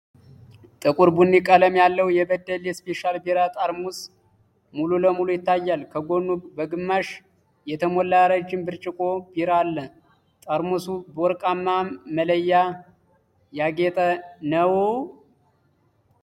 ጥቁር ቡኒ ቀለም ያለው የ *በደሌ ስፔሻል ቢራ* ጠርሙስ ሙሉ ለሙሉ ይታያል። ከጎኑ በግማሽ የተሞላ ረጅም ብርጭቆ ቢራ አለ። ጠርሙሱ በወርቃማ መለያ ያጌጠ ነው።